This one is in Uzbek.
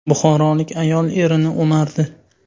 Buxorolik ayol erini o‘mardi.